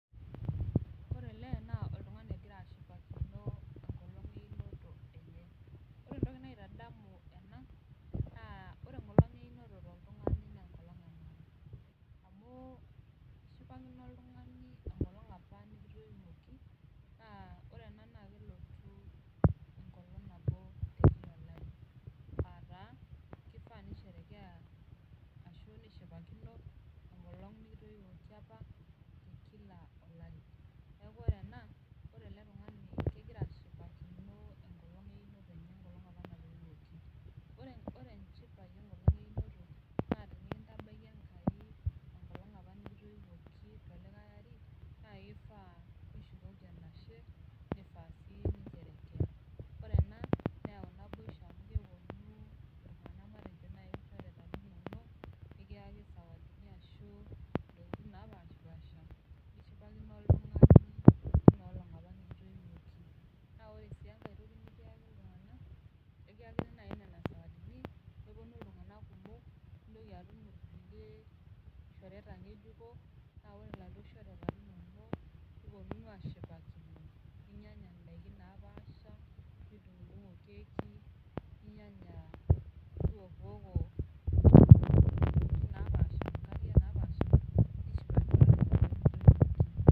Ore ele naa oltung'ani ogira ashipakino enkolong einoto enye ore entoki naitadamu ena naa ore enkolong einoto toltung'ani naa enkolong e maana amu ishipakino oltung'ani enkolong apa nikitoiwuoki naa ore ena naa kelotu enkolong nabo tiatua olari ataa kifaa nisherekea ashu nishipakino enkolong nikitoiwoki apa kila olari neku ore ena ore ele tung'ani kegira ashipakino enkolong einoto enye enkolong apa natoiwuoki ore ore enchipai enkolong einoto naa tenikintabaiki enkai enkolong apa nikitoiwuoki tolikae ari naa kifaa nishukoki enashe nifaa sii nincherekea ore ena neyau naboisho amu keponu iltung'anak naaji matejo ilchoreta linonok nikiyaki isawadini ashu intokitin napashipasha nishipakino oltung'ani tina olong apa nikitoiwuoki naa ore sii enkae toki nikiyaki iltung'an ekiyakini naaji inena sawadini neponu iltung'anak kumok nintoki atum irkulie shoreta ng'ejuko naa ore iladuo shoreta linonok niponunu ashipakino ninyianya indaiki napaasha nidung'udung'o keki ninyianya niwokiwoko intokiting napaasha inkariak napaasha nishipakinono enkolong nikitoiwuoki.